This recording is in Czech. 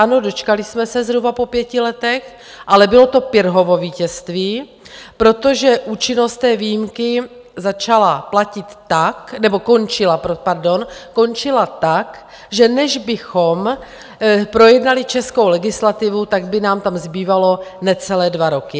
Ano, dočkali jsme se zhruba po pěti letech, ale bylo to Pyrrhovo vítězství, protože účinnost té výjimky začala platit tak, nebo končila, pardon, končila tak, že než bychom projednali českou legislativu, tak by nám tam zbývaly necelé dva roky.